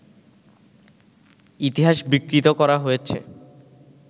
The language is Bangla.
ইতিহাস বিকৃত করা হয়েছে